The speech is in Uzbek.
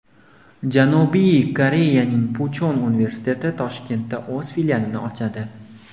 Janubiy Koreyaning Puchon universiteti Toshkentda o‘z filialini ochadi.